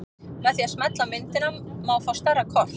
Með því að smella á myndina má fá stærra kort.